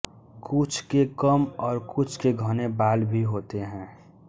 कुछ के कम और कुछ के घने बाल भी होते हैं